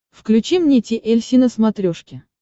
включи мне ти эль си на смотрешке